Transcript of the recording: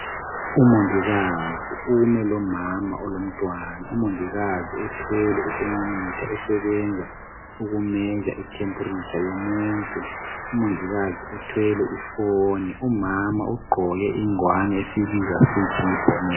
Umongikazi ume lomama olomntwana. UMongikazi uthwele ithermometer esebenza uku measure itemperature yomuntu. Umongikazi uthwele iphone. Umama ugqoke ingwane esiyibiza sithi yi bonnet.